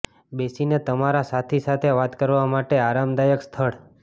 બેસીને તમારા સાથી સાથે વાત કરવા માટે આરામદાયક સ્થળ